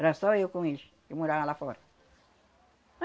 Era só eu com eles, que moravam lá fora.